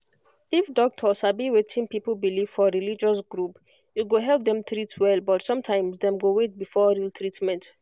if doctor sabi wetin people believe for religious group e go help dem treat well but sometimes dem go wait before real treatment